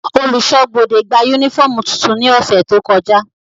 Oluṣọ ibode gba unifọmú tuntun ni ọsẹ to kọja.